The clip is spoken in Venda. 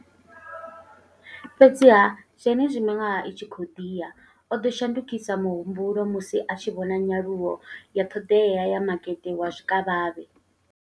Fhedziha, zwenezwi miṅwaha i tshi khou ḓi ya, o ḓo shandukisa muhumbulo musi a tshi vhona nyaluwo ya ṱhoḓea ya makete wa zwikavhavhe.